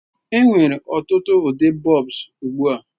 Enwere ọtụtụ ụdị bulbs ugbu a.